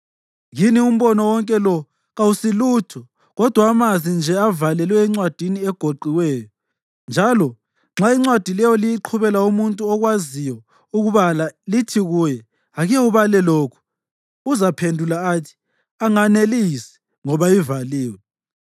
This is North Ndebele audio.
Kini umbono wonke lo kawusilutho kodwa amazwi nje avalelwe encwadini egoqiweyo. Njalo nxa incwadi leyo liyiqhubela umuntu okwaziyo ukubala lithi kuye, “Ake ubale lokhu,” uzaphendula athi, “Anganelisi, ngoba ivaliwe.”